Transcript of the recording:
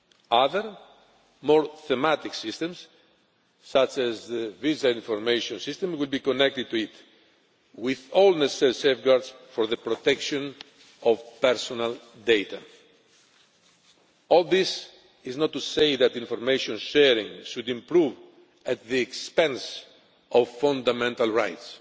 Other, more thematic systems, such as the Visa Information System, would be connected to it, with all necessary safeguards for the protection of personal data. All this is not to say that information sharing should improve at the expense of fundamental rights